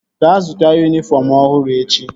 Gaa zụta yunifọm ọhụrụ echi!